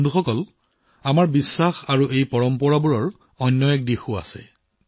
বন্ধুসকল এই বিশ্বাস আৰু আমাৰ এই পৰম্পৰাৰ আন এটা দিশ আছে